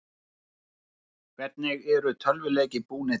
Hvernig eru tölvuleikir búnir til?